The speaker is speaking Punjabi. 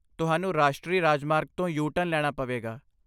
ਤੁਹਾਨੂੰ ਰਾਸ਼ਟਰੀ ਰਾਜਮਾਰਗ ਤੋਂ ਯੂ ਟਰਨ ਲੈਣਾ ਪਵੇਗਾ